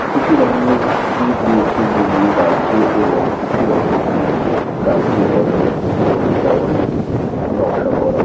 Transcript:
কিছু রঙের ইট রয়েছে যেগুলো লালচে এবং কিছু রঙের ইট কালচে ধরনের এবং এই দেওয়ালটি নকশা করা।